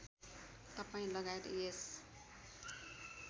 तपाईँ लगायत यस